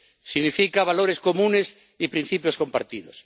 Significa valores comunes y principios compartidos.